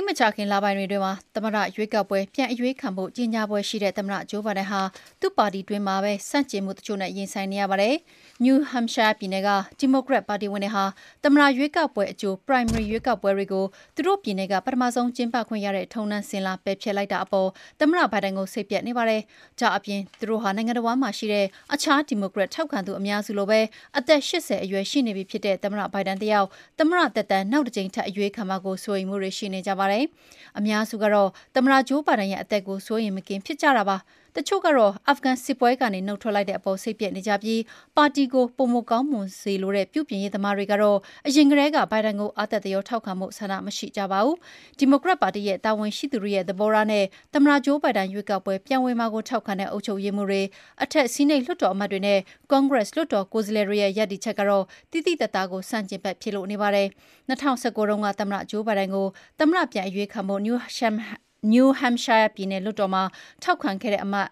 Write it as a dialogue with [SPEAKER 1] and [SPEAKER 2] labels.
[SPEAKER 1] ပ်မကြာခင်လပိုင်းတွေမှာ သမ္မတရွေးကောက်ပွဲ ပြန်အရွေးခံဖို့ ကြေညာဖွယ်ရှိတဲ့ သမ္မတဂျိုးဘိုင်ဒန် သူ့ပါတီတွင်းမှာပဲ ဆန့်ကျင်မှုတချို့နဲ့ ရင်ဆိုင်နေရပါတယ်။ နယူးဟမ့်ရှိုင်းယားပြည်နယ်က ဒီမိုကရက်ပါတီဝင်တွေဟာ သမ္မတရွေးကောက်ပွဲရဲ့အကြို Primary ရွေးကောက်ပွဲတွေကို သူတို့ပြည်နယ်က ပထမဆုံး ကျင်းပခွင့်ရတဲ့ထုံးတမ်းစဉ်လာ ပယ်ဖျက်လိုက်တာအပေါ် သမ္မတဘိုင်ဒန်ကို စိတ်ပျက်နေကြပါတယ်။ ဒါ့ပြင် သူတို့ဟာ နိုင်ငံတဝန်းမှာရှိတဲ့ အခြားဒီမိုကရက်ထောက်ခံသူအများစုလိုပဲ အသက် ၈၀ ရှိနေပြီဖြစ်တဲ့ မစ္စတာဘိုင်ဒန်တယောက် သမ္မတသက်တမ်း နောက်တကြိမ် ထပ်အရွေးခံမှာကိုလည်း စိုးရိမ်မှုတွေ ရှိနေကြပါတယ်။ အများစုကတော့ သမ္မတဂျိုးဘိုင်ဒန်ရဲ့အသက်ကို စိုးရိမ်မကင်းဖြစ်နေကြတာပါ။ တချို့ကတော့ အာဖဂန်စစ်ပွဲကနေ နုတ်ထွက်လိုက်တဲ့အပေါ်စိတ်ပျက်နေကြပြီး ပါတီကို ပိုမိုကောင်းမွန်စေလိုတဲ့ ပြုပြင်ရေးသမားတွေကတော့ အရင်ကတည်းက ဘိုင်ဒန်ကို အားတက်သရောထောက်ခံဖို့ဆန္ဒ မရှိကြပါဘူး။ ဒီမိုကရက်ပါတီက တာဝန်ရှိသူတွေရဲ့သဘောထားနဲ့ သမ္မတဂျိုးဘိုင်ဒန် ရွေးကောက်ပွဲပြန်ဝင်မှာကိုထောက်ခံတဲ့ အုပ်ချုပ်ရေးမှူးတွေ၊ အထက်ဆီးနိတ်လွှတ်တော်အမတ်တွေနဲ့ ကွန်ဂရက်လွှတ်တော် ကိုယ်စားလှယ်တွေရဲ့ ရပ်တည်မှုကတော့ သိသိသာသာကို ဆန့်ကျင်ဘက်ဖြစ်နေပါတယ်။ ၂၀၁၉ တုန်းက သမ္မတဂျိုးဘိုင်ဒန်ကို သမ္မတပြန်အရွေးခံဖို့ နယူးဟမ့်ရှိုင်းယား ပြည်နယ်လွှတ်တော်မှာထောက်ခံခဲ့တဲ့ အမတ်